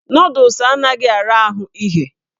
Nọdụs anaghị ara ahụ ighe.